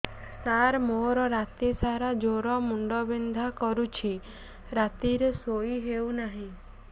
ସାର ମୋର ରାତି ସାରା ଜ୍ଵର ମୁଣ୍ଡ ବିନ୍ଧା କରୁଛି ରାତିରେ ଶୋଇ ହେଉ ନାହିଁ